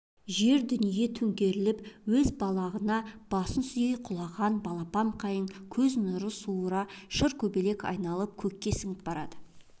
жер дүние төңкеріліп өз балағына басын сүйей құлаған балапан қайың көз нұрын суыра шыркөбелек айналып көкке сіңіп барады